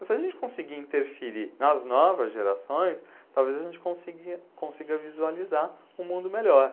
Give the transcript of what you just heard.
Mas se a gente conseguir interferir nas novas gerações, talvez a gente consiga consiga visualizar um mundo melhor.